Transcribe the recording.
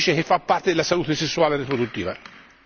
Non si dice che fa parte della salute sessuale e riproduttiva.